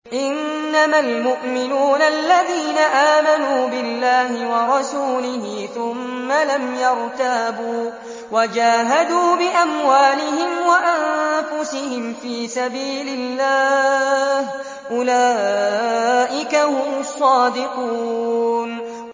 إِنَّمَا الْمُؤْمِنُونَ الَّذِينَ آمَنُوا بِاللَّهِ وَرَسُولِهِ ثُمَّ لَمْ يَرْتَابُوا وَجَاهَدُوا بِأَمْوَالِهِمْ وَأَنفُسِهِمْ فِي سَبِيلِ اللَّهِ ۚ أُولَٰئِكَ هُمُ الصَّادِقُونَ